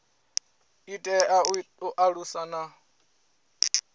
i tea u alusa na